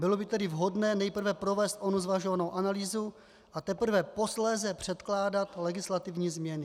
Bylo by tedy vhodné nejprve provést onu zvažovanou analýzu, a teprve posléze předkládat legislativní změny.